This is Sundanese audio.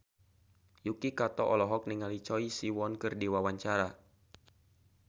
Yuki Kato olohok ningali Choi Siwon keur diwawancara